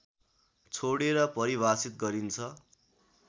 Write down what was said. छोडेर परिभाषित गरिन्छ